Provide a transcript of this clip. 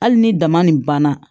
Hali ni dama nin banna